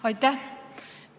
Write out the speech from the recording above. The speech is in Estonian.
Aitäh!